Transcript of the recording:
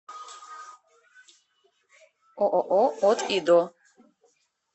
ооо от и до